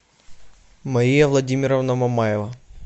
мария владимировна мамаева